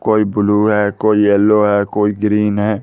कोई ब्लू है कोई येलो है कोई ग्रीन है।